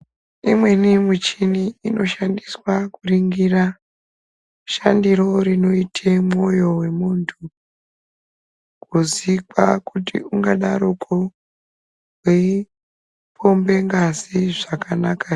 Imweni michini inoshandiswa kuringira shandiro rinoite mwoyo wemuntu, kuzikwa kuti ungadaroko weipombe ngazi zvakanaka here.